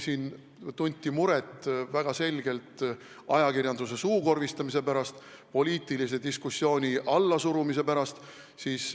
Siin tunti väga selgelt muret ajakirjanduse suukorvistamise pärast, poliitilise diskussiooni allasurumise pärast.